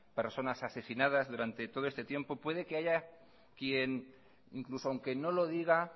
personas asesinadas durante todos este tiempo puede que haya quien incluso aunque no lo diga